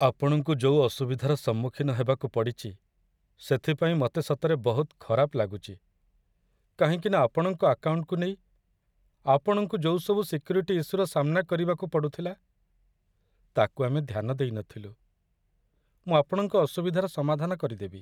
ଆପଣଙ୍କୁ ଯୋଉ ଅସୁବିଧାର ସମ୍ମୁଖୀନ ହବାକୁ ପଡ଼ିଚି ସେଥିପାଇଁ ମତେ ସତରେ ବହୁତ ଖରାପ ଲାଗୁଚି କାହିଁକିନା ଆପଣଙ୍କ ଆକାଉଣ୍ଟକୁ ନେଇ ଆପଣଙ୍କୁ ଯୋଉ ସବୁ ସିକ୍ୟୁରିଟି ଇସ୍ୟୁର ସାମ୍ନା କରିବାକୁ ପଡ଼ୁଥିଲା, ତା'କୁ ଆମେ ଧ୍ୟାନ ଦେଇ ନଥିଲୁ । ମୁଁ ଆପଣଙ୍କ ଅସୁବିଧାର ସମାଧାନ କରିଦେବି ।